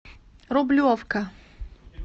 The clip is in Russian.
рублевка